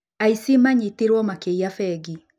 Aici manyitirwo makĩinya bengi